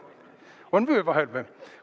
On vöö vahel või?